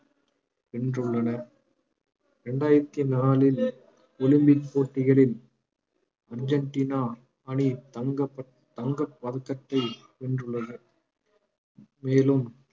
வென்றுள்ளன ரெண்டாயிரத்தி நாளில் ஒலிம்பிக் போட்டிகளில் அர்ஜென்டினா அணி தங்கப் ப~ தங்கப் பதக்கத்தை வென்றுள்ளது மேலும்